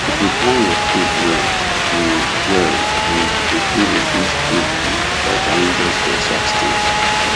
if you plan your food well you well you go fit reduce food bill by buying just the exact things